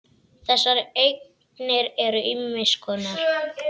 Þessar eignir eru ýmiss konar.